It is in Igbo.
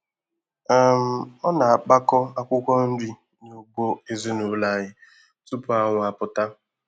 um Ọ na-akpakọ akwụkwọ nri n'ugbo ezinụlọ anyị tupu anwụ apụta.